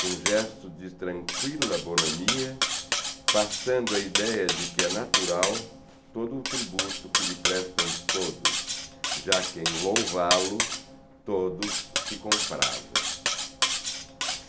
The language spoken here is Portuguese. com um gesto de tranquila bonomia, passando a ideia de que é natural todo o tributo que lhe prestam todos, já que em louvá-lo todos se compravem.